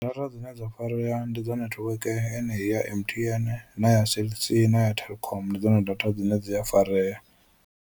Data dzine dza farea ndi dza network enei ya M_T_N na ya Cell C na ya Telkom ndi dzone data dzine dzi a farea.